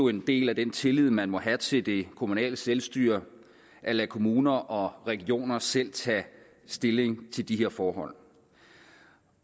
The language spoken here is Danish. en del af den tillid man må have til det kommunale selvstyre at lade kommuner og regioner selv tage stilling til de her forhold